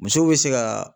Musow be se ka